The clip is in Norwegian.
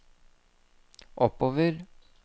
oppover